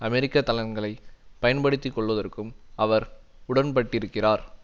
அமெரிக்க தளங்களை பயன்படுத்தி கொள்வதற்கும் அவர் உடன்பட்டிருக்கிறார்